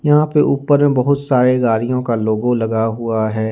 यहां पे ऊपर में बहुत सारे गाड़ियों का लोगो लगा हुआ है।